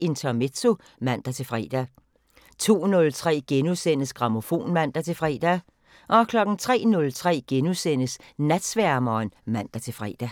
Intermezzo (man-fre) 02:03: Grammofon *(man-fre) 03:03: Natsværmeren *(man-fre)